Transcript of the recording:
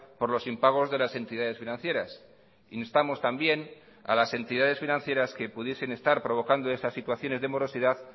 por los impagos de las entidades financieras instamos también a las entidades financieras que pudiesen estar provocando esas situaciones de morosidad